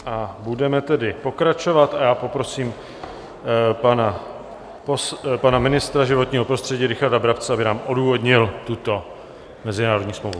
A budeme tedy pokračovat a já poprosím pana ministra životního prostředí Richarda Brabce, aby nám odůvodnil tuto mezinárodní smlouvu.